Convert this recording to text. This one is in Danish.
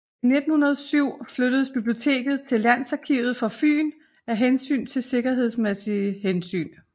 I 1907 flyttedes biblioteket til Landsarkivet for Fyn af sikkerhedsmæssige hensyn